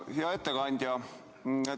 Hea ettekandja!